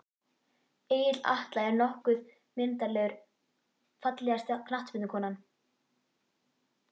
Egill Atla er nokkuð myndarlegur Fallegasta knattspyrnukonan?